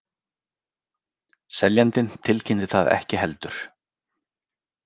Seljandinn tilkynnti það ekki heldur